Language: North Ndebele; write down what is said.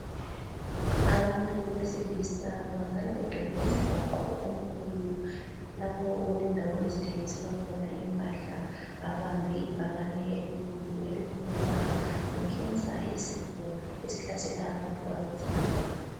Abantu besilisa babonakala begcwele umgwaqo omkhulu lapho okulendawo ezithengiselwa khona impahla. Babambe ibhakane elikhulu elikhuluma nge Cancer isifo esihlasela abantu abesidoda.